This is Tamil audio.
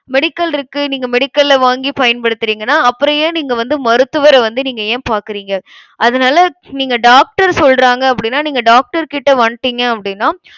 medical இருக்கு நீங்க medical ல வாங்கி பயன்படுத்துறீங்கன்னா அப்புறம் ஏன் நீங்க வந்து மருத்துவர வந்து நீங்க ஏன் பாக்குறீங்க? அதனால, நீங்க doctor சொல்றாங்க அப்படின்னா நீங்க doctor கிட்ட வந்திட்டிங்க அப்படின்னா,